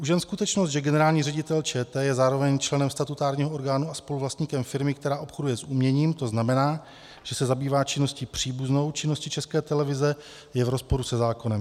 Už jen skutečnost, že generální ředitel ČT je zároveň členem statutárního orgánu a spoluvlastníkem firmy, která obchoduje s uměním, to znamená, že se zabývá činností příbuznou činnosti České televize, je v rozporu se zákonem.